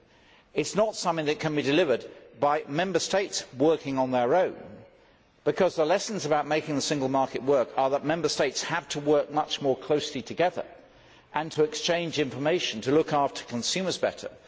Neither is it something which can be delivered by Member States working on their own, because the lessons about making the single market work are that Member States have to work much more closely together and to exchange information to look after consumers better